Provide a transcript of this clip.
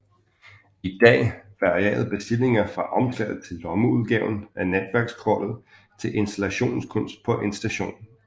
I dag varierer bestillinger fra omslaget til lommeudgaven af netværkskortet til installationskunst på en station